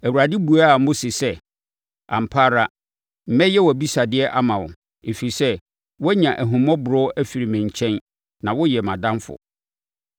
Awurade buaa Mose sɛ, “Ampa ara, mɛyɛ wʼabisadeɛ ama wo, ɛfiri sɛ, woanya ahummɔborɔ afiri me nkyɛn na woyɛ mʼadamfo.”